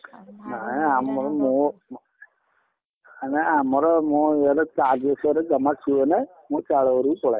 ନାଇଁ ଆମର ମୋର, ନାଇଁ ଆମର ମୁଁ ଏଇ ଘରେ charge ବସେଇବାରେ ଜମା ଶୁଏଇନି ମୁଁ ଚାଳ ଘରକୁ ପଳାଏ।